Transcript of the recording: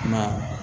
Kuma